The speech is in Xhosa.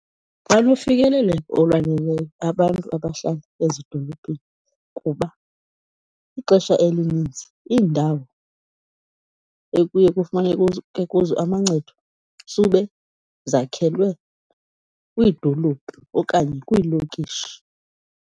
Banofikeleleko olwaneleyo abantu abahlala ezidolophini kuba ixesha elininzi iindawo ekuye kufumaneke kuzo amancedo sube zakhelwe kwiidolophu okanye kwiilokishi.